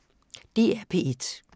DR P1